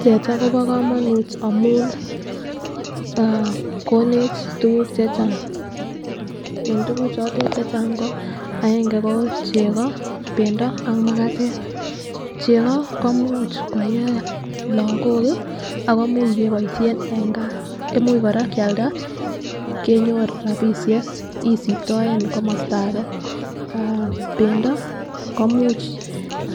Teta Kobo komonut amun aah konech tukuk che chang en tukuk chotet chechang ko aenge ko cheko, pendo ak makatet. Cheko ko imuch koyee lokok kii ako imuch keboishen en gaa imuch Koraa Kialda kenyor rabishek isiptoen komosto age. Aah pendo komuch